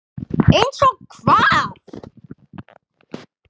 Einsog hvað?